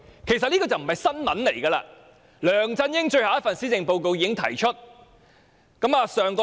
其實這並非新聞，因為梁振英的最後一份施政報告已提出這項建議。